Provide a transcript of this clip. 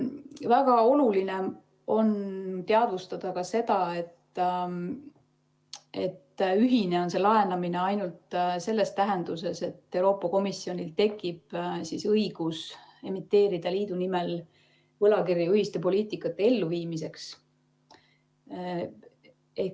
Väga oluline on teadvustada ka seda, et ühine on see laenamine ainult selles tähenduses, et Euroopa Komisjonil tekib õigus emiteerida liidu nimel võlakirju ühiste poliitikate elluviimiseks.